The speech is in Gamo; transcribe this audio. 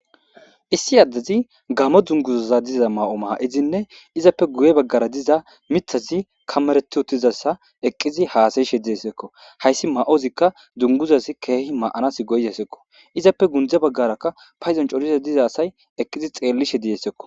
Issi adezi gamo dunguza mayidi izappe guye bagara diza mithazi kamereti uttidaysa hasayshe dizaysako haysi dunguzazika mayanaw go'izaysako izappe gunde bagaraka paydon coriza asay eqidi betishe dizaysakko